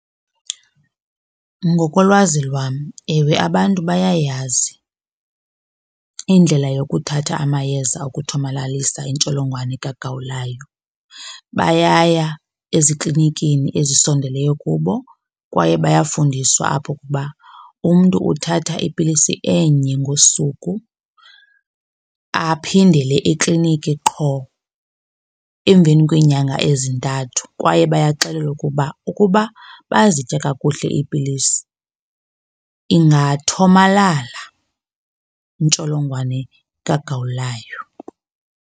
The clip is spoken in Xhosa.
Ngokolwazi lwam ewe abantu bayayazi indlela yokuthatha amayeza okuthomalalisa intsholongwane kagawulayo. Bayaya eziklinikini ezisondeleyo kubo kwaye bayafundiswa apho ukuba umntu uthatha ipilisi enye ngosuku aphindele ekliniki qho emveni kweenyanga ezintathu. Kwaye bayaxelelwa ukuba ukuba bayazitya kakuhle iipilisi ingathomalala intsholongwane kagawulayo.